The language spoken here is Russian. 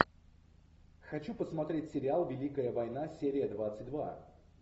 хочу посмотреть сериал великая война серия двадцать два